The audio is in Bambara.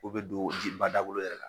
U bɛ don ji bada wolo yɛrɛ la